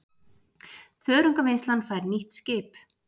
Þörungavinnslan fær nýtt skip